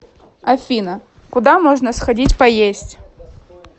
афина куда можно сходить поесть